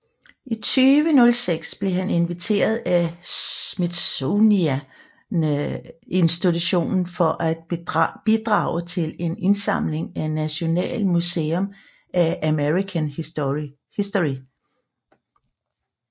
I 2006 blev han inviteret af Smithsonian Institution til at bidrage til en indsamling til National Museum of American History